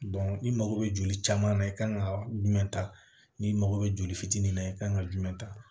n'i mago bɛ joli caman na i kan ka jumɛn ta ni mago bɛ joli fitinin na i kan ka jumɛn ta